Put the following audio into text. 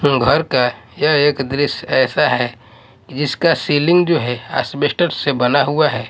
घर का यह एक दृश्य ऐसा है कि जिसका सीलिंग जो है एस्बेस्टस से बना हुआ है।